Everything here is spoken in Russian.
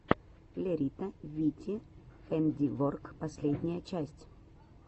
лерита вити хэндиворк последняя часть